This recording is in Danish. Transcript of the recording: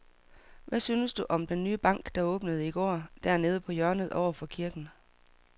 Hvad synes du om den nye bank, der åbnede i går dernede på hjørnet over for kirken?